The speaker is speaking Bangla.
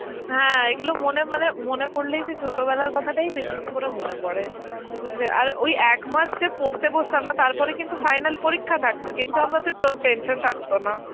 হ্যাঁ এইগুলো মনে মানে মনে পড়লেই সেই ছোটবেলার কথাটাই বেশি করে মনে পড়ে, যে আর ওই একমাস যে পড়তে বসতাম না, তারপরে কিন্তু final পরীক্ষা থাকতো কিন্তু আমাদের টোন~ tension থাকতো না.